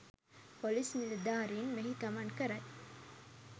police නිලධාරීන් මෙහි ගමන් කරයි